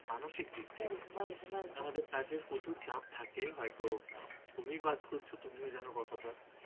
প্রচুর চাপ থাকে হয়তো। তুমি কাজ করেছ তুমি জানো কতটা।